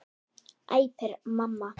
æpir mamma.